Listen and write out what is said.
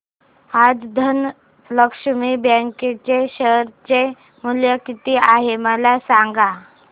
आज धनलक्ष्मी बँक चे शेअर चे मूल्य किती आहे मला सांगा